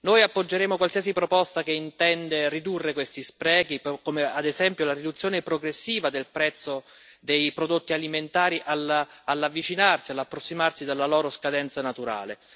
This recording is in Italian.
Noi appoggeremo qualsiasi proposta che intenda ridurre questi sprechi, come ad esempio la riduzione progressiva del prezzo dei prodotti alimentari all'avvicinarsi, all'approssimarsi della loro scadenza naturale.